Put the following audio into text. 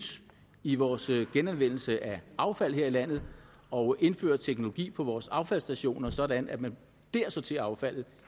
i vores genanvendelse af affald her i landet og indfører teknologi på vores affaldsstationer sådan at man dér sorterer affaldet